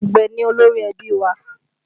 Àgbẹ̀ ni olórí ẹbí wa